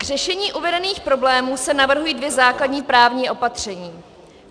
K řešení uvedených problémů se navrhují dvě základní právní opatření.